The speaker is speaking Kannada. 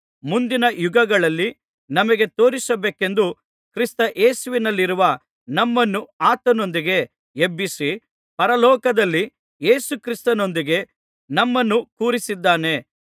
ಮುಂದಿನ ಯುಗಗಳಲ್ಲಿ ನಮಗೆ ತೋರಿಸಬೇಕೆಂದು ಕ್ರಿಸ್ತಯೇಸುವಿನಲ್ಲಿರುವ ನಮ್ಮನ್ನು ಆತನೊಂದಿಗೆ ಎಬ್ಬಿಸಿ ಪರಲೋಕದಲ್ಲಿ ಯೇಸುಕ್ರಿಸ್ತನೊಂದಿಗೆ ನಮ್ಮನ್ನು ಕೂರಿಸಿದ್ದಾನೆ